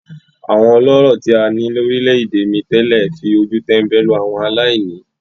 Àwọn ọlọ́rọ̀ tí a ní lórílẹ̀-èdè mi tẹ́lẹ̀ fi ojú tẹ́ńbẹ́lú àwọn aláìní.